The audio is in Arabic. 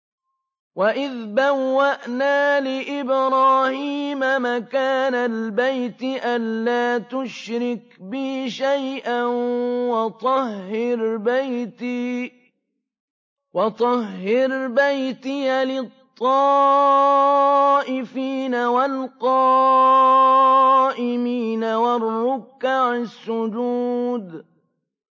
وَإِذْ بَوَّأْنَا لِإِبْرَاهِيمَ مَكَانَ الْبَيْتِ أَن لَّا تُشْرِكْ بِي شَيْئًا وَطَهِّرْ بَيْتِيَ لِلطَّائِفِينَ وَالْقَائِمِينَ وَالرُّكَّعِ السُّجُودِ